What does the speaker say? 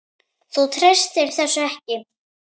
Þú treystir þessu ekki?